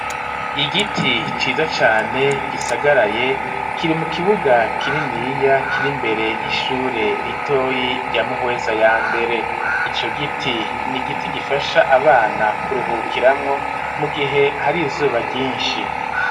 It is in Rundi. Igiti ciza cane gisagaraye kiri mu kibuga kininiya kiri mbere y'ishure ritoyi rya muhweza ya mbere ico giti ni giti gifasha abana kuruhukiramwo mu gihe hari izuba ryinshi.